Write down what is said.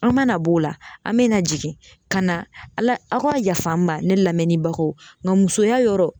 An mana b'o la an bɛna jigin ka na ala, a ka yaf'an ma ne lamɛnnibagaw nka musoya yɔrɔ